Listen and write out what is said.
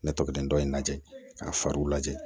Ne tɔgɔ dindo in lajɛ k'a fariw lajɛ